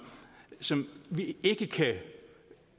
som vi ikke kan